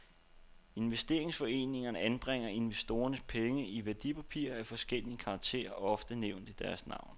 Investeringsforeningerne anbringer investorernes penge i værdipapirer af forskellig karakter, ofte nævnt i deres navn.